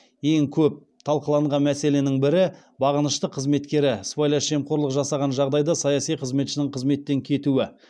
ең көп талқыланған мәселенің бірі бағынышты қызметкері сыбайлас жемқорлық жасаған жағдайда саяси қызметшінің қызметтен кетуі